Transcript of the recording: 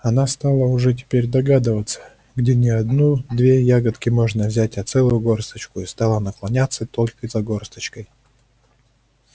она стала уже теперь догадываться где не одну две ягодки можно взять а целую горсточку и стала наклоняться только за горсточкой